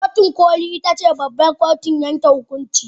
Kotun koli ita ce babbar kotun yanke hukunci.